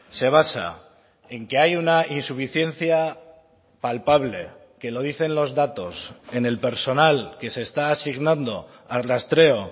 se basa en que hay una insuficiencia palpable que lo dicen los datos en el personal que se está asignando al rastreo